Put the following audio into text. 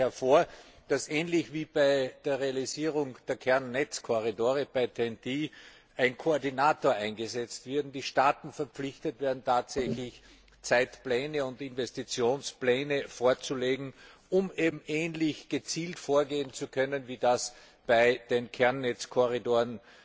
Ich schlage daher vor, dass ähnlich wie bei der Realisierung der Kernnetzkorridore bei TEN T ein Koordinator eingesetzt wird und die Staaten verpflichtet werden, tatsächlich Zeitpläne und Investitionspläne vorzulegen, um eben ähnlich gezielt vorgehen zu können, wie das bei den Kernnetzkorridoren